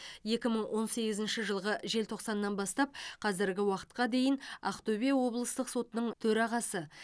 екі мың он сегізінші жылғы желтоқсаннан бастап қазіргі уақытқа дейін ақтөбе облыстық сотының төрағасы